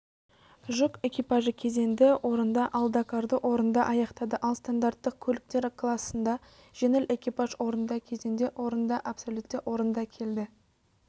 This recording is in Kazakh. жүк экипажы кезеңді орында ал дакарды орында аяқтады ал стандарттық көліктер классында жеңіл экипаж орында кезеңде орында абсолютте орында келді